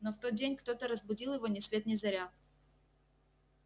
но в тот день кто-то разбудил его ни свет ни заря